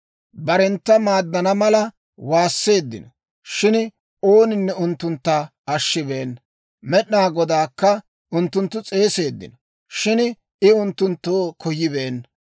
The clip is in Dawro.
Barentta maaddana mala waasseeddino, shin ooninne unttuntta ashshibeenna. Med'inaa Godaakka unttunttu s'eeseeddino, shin I unttunttoo koyibeenna.